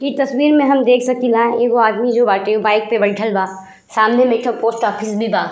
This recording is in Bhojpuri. ई तस्वीर में हम देख सकीला एगो आदमी जो बाटे उ बाइक पे बइठल बा। सामने में एक ठो पोस्ट ऑफिस बा।